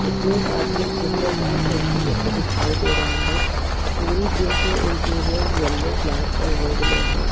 इसमें एक आदमी जीम में अपनी सेल्फी लेते दिखाई दे रहा है। पूरी जीम के इंटीरियर येलो ब्लैक और रेड में है।